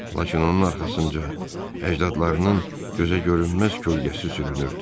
Lakin onun arxasınca əcdadlarının gözəgörünməz kölgəsi sürünürdü.